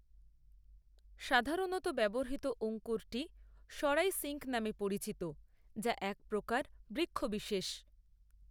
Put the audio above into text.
সাধারণত ব্যবহৃত অঙ্কুরটি সরাই সিঙ্ক নামে পরিচিত যা এক প্রকার বৃক্ষবিশেষ।